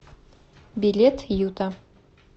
билет юта